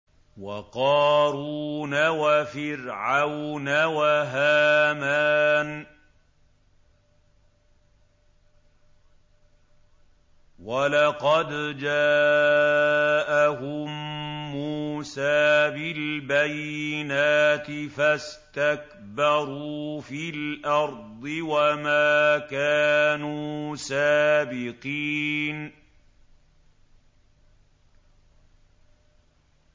وَقَارُونَ وَفِرْعَوْنَ وَهَامَانَ ۖ وَلَقَدْ جَاءَهُم مُّوسَىٰ بِالْبَيِّنَاتِ فَاسْتَكْبَرُوا فِي الْأَرْضِ وَمَا كَانُوا سَابِقِينَ